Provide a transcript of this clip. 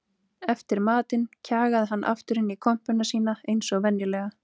Eftir matinn kjagaði hann aftur inn í kompuna sína eins og venjulega.